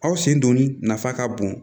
Aw sen donni nafa ka bon